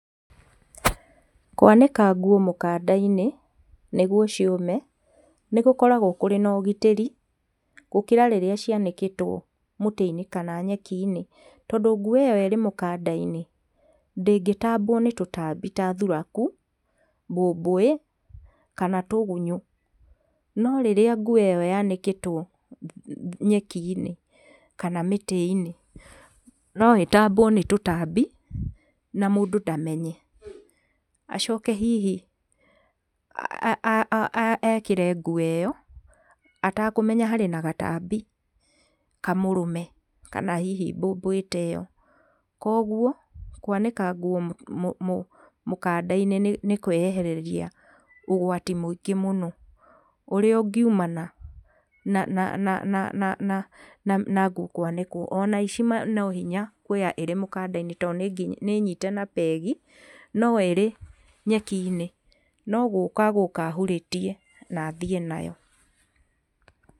Kwanĩka nguo mũkanda-inĩ nĩguo ciũme nĩ gũkoragwo kũrĩ na ũgitĩri gũkĩra rĩrĩa cianĩkĩtwo mũtĩ-inĩ kana nyeki-inĩ. Tondũ nguo ĩyo ĩrĩ mũkanda-inĩ ndĩngĩtambwo nĩ tũtambi ta thuraku, mbũmbũĩ kana tũgunyũ. No rĩrĩa nguo ĩyo yanĩkĩtwo nyeki-inĩ kana mĩtĩ-inĩ no ĩtambwo nĩ tũtambi na mũndũ ndamenye. Acoke hihi a a ekĩre nguo ĩyo atakũmenya harĩ na gatambi kamũrũme, kana hihi mbũmbũi ta ĩyo. Koguo kwanĩka nguo mũkanda-inĩ nĩ kwĩyehereria ũgwati mũingĩ mũno ũrĩa ũngiumana na na na nguo kwanĩkwo. Ona aici no hinya kuoya ĩrĩ mũkanda-inĩ tondũ nĩ nyite na peg no ĩrĩ nyeki-inĩ no gũka gũka ahurĩtie na athiĩ nayo.